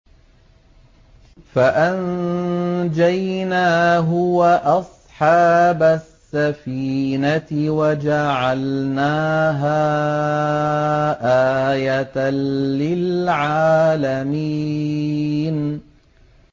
فَأَنجَيْنَاهُ وَأَصْحَابَ السَّفِينَةِ وَجَعَلْنَاهَا آيَةً لِّلْعَالَمِينَ